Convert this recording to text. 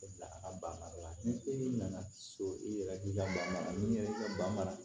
Bila a ka ban mara la ni e nana so i yɛrɛ k'i ka banan mara